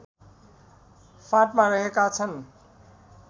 फाँटमा रहेका छन्